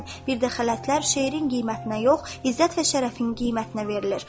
Bir də xələtlər şeirin qiymətinə yox, izzət və şərəfin qiymətinə verilir.